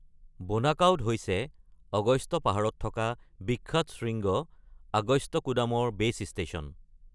বোনাকাউড হৈছে অগস্ত্য পাহাৰত থকা বিখ্যাত শৃংগ আগস্ত্যকুডামৰ ভিত্তি ষ্টেচন।